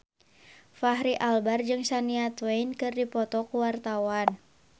Fachri Albar jeung Shania Twain keur dipoto ku wartawan